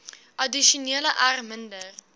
addisioneel r minder